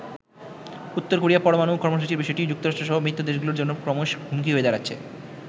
উত্তর কোরিয়া পরমাণু কর্মসূচির বিষয়টি যুক্তরাষ্ট্রসহ মিত্র দেশগুলোর জন্য ক্রমশ হুমকি হয়ে দাঁড়াচ্ছে।